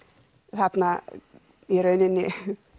þarna í rauninni